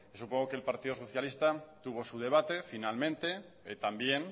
supongo que el partido socialista tuvo su debate finalmente también